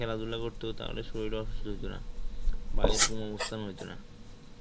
খেলাধুলা করত তাহলে শরীর অসুস্থ হইতো না বা এরকম অবস্থা হইত না,